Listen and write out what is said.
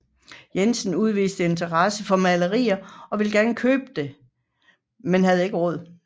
Jensen udviste interesse for maleriet og ville gerne købe det men havde ikke råd